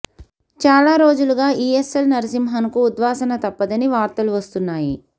చాలా రోజులుగా ఈఎస్ఎల్ నరసింహన్ కు ఉద్వాసన తప్పదని వార్తలు వస్తున్నాయి